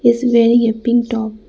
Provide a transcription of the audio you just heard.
He is wearing a pink top.